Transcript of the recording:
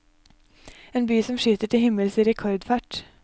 En by som skyter til himmels i rekordfart.